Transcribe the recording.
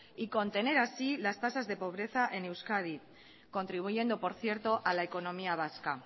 y contener así las tasas de pobreza en euskadi contribuyendo por cierto a la economía vasca